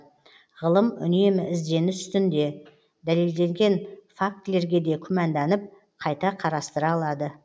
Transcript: ғылым үнемі ізденіс үстінде дәлелденген факттерге де күмәнданып қайта қарастыра алады